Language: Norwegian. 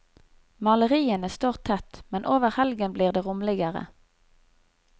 Maleriene står tett, men over helgen blir det rommeligere.